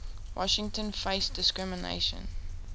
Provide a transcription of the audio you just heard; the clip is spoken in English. washington faced discrimination